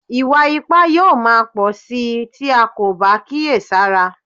Ìwà ipá yóò máa pọ̀ síi tí a kò bá kíyè sára